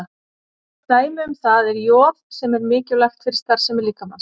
Dæmi um það er joð sem er mikilvægt fyrir starfsemi líkamans.